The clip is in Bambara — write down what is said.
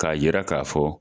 K'a yira k'a fɔ.